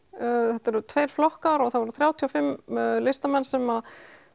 þetta eru tveir flokkar og það voru þrjátíu og fimm listamenn sem